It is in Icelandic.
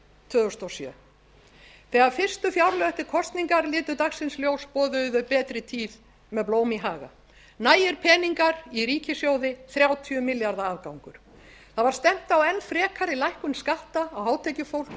tvö þúsund og sjö þegar fyrstu fjárlög eftir kosningar litu dagsins ljós boðuðu þau betri tíð með blóm í haga nægir peningar í ríkissjóði þrjátíu milljarða afgangur það var stefnt á enn frekari lækkun skatta á hátekjufólk og